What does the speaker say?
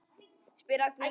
spyr Agnes Svenna.